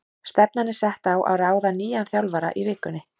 Stefnan er sett á að ráða nýjan þjálfara í vikunni.